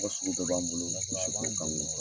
tɔgɔ sugu bɛɛ b'an bolo misiko kan .